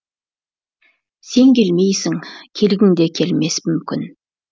сен келмейсің келгіңде келмес мүмкін